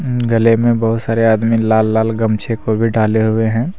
गले में बहोत सारे आदमी लाल लाल गमछे को भी डाले हुए है।